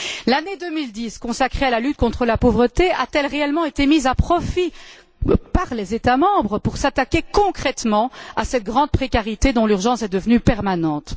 L'année 2010, consacrée à la lutte contre la pauvreté, a t elle réellement été mise à profit par les États membres pour s'attaquer concrètement à cette grande précarité, dont l'urgence est devenue permanente?